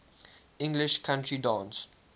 english country dance